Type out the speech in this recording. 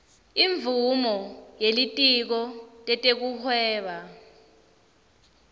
imvumo yelitiko letekuhweba